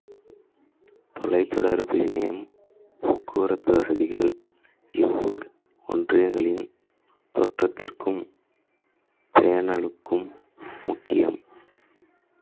தொலைத்தொடர்பு இணையம் போக்குவரத்து வசதிகள் இவ்வூர் ஒன்றியங்களின் தோற்றத்துக்கும் பேணலுக்கும் முக்கியம்